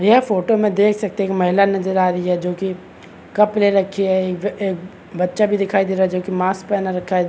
ये फोटो में देख सकते है एक महिला नज़र आ रही है जोकि कप ले रखी है। एक बच्चा भी दिखाई दे रहा है जो कि मास्क पहना रखा है। .